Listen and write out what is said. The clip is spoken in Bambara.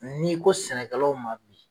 n'i ko sɛnɛkɛlaw ma bi.